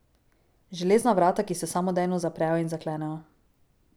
Železna vrata, ki se samodejno zaprejo in zaklenejo.